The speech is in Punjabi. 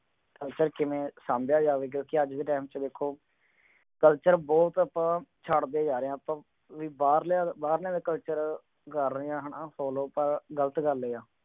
culture ਕਿਵੇਂ ਸਾਂਭਿਆ ਜਾਵੇ ਕਯੋਂ ਕੀ ਅੱਜ ਦੇ time ਚ ਦੇਖੋ culture ਬਹੁਤ ਆਪਾਂ ਛੱਡ ਦੇ ਜਾ ਰਹੇ ਹਾਂ ਬਈ ਆਪਾਂ ਬਾਹਰ ਬਾਹਰ ਲਿਆਂਦਾ culture ਕਰ ਰਹੀ ਹੈ ਨਾ follow ਤਾ ਗਲਤ ਗਲ ਏ ਆ